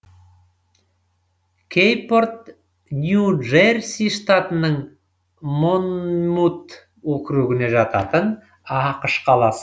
кэйпорт нью джерси штатының монмут округіне жататын ақш қаласы